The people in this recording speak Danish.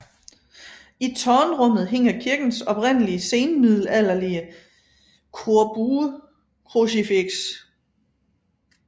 I tårnrummet hænger kirkens oprindelige senmiddelalderlige korbuekrucifiks